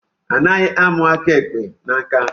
Anaghi amu aka ikpa na nka.